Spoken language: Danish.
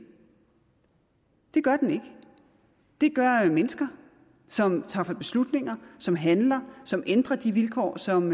det gør den ikke det gør mennesker som tager beslutninger som handler som ændrer de vilkår som